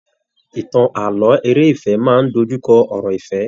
Ìtàn ààlọ́ eré ìfẹ máa n dojukọ ọ̀rọ̀ ìfẹ.